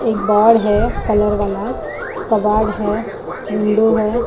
एक बाड़ है कलर वाला कबाब है विंडो है।